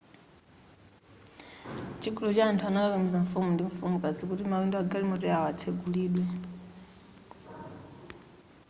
chigulu cha anthu anakakamiza mfumu ndi mfumukazi kuti mawindo a galimoto yawo atsegulidwe